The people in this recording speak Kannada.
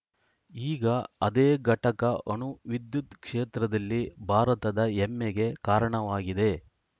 ಈಗ ಅದೇ ಘಟಕ ಅಣು ವಿದ್ಯುತ್‌ ಕ್ಷೇತ್ರದಲ್ಲಿ ಭಾರತದ ಹೆಮ್ಮೆಗೆ ಕಾರಣವಾಗಿದೆ